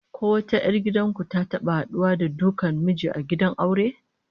Ko wata 'yar gidan ku ta taba haduwa da dukan miji a gidan aure?